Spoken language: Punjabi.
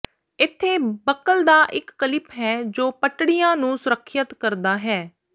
ਇੱਥੇ ਬਕਲ ਦਾ ਇੱਕ ਕਲਿਪ ਹੈ ਜੋ ਪੱਟੜੀਆਂ ਨੂੰ ਸੁਰੱਖਿਅਤ ਕਰਦਾ ਹੈ